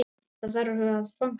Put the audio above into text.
Það þarf að fagna því.